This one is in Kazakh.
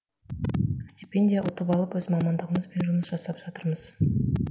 стипендия ұтып алып өз мамандығымызбен жұмыс жасап жатырмыз